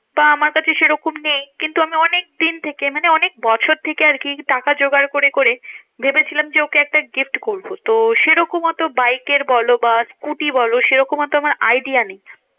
বা আমার কাছে সেরকম নেই। কিন্তু আমি অনেকদিন থেকে মানে অনেক বছর থেকে আরকি টাকা জোগাড় করে করে ভেবেছিলাম যে, ওকে একটা gift করবো। তো সেরকম অত বাইকের বলো বা স্কুটি বলো সেরকম তো আমার idea নেই।